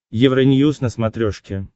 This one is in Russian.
евроньюз на смотрешке